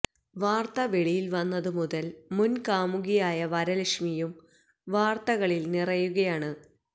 വാര്ത്ത വെളിയില് വന്നത് മുതല് മുന് കാമുകിയായ വരലക്ഷ്മിയും വാര്ത്തകളില് നിറയുകയാണ്